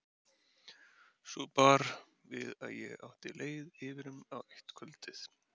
Svo bar við að ég átti leið yfirum á eitt kvöldið.